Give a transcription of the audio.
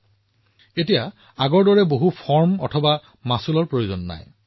ইয়াৰ বাবে অধিক প্ৰপত্ৰ পূৰণ কৰিব নালাগিব বা পূৰ্বৰ দৰে মাচুল দিব নালাগিব